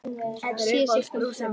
Sé siglt frá